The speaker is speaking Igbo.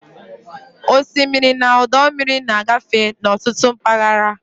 Osimiri na ọdọ mmiri na-agafe n'ọtụtụ mpaghara.